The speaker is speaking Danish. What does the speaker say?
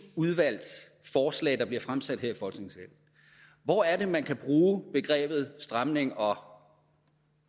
udvalgt forslag der bliver fremsat her i folketingssalen hvor er det man kan bruge begrebet stramning og